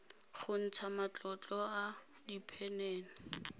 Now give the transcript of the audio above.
go ntsha matlolo a diphenene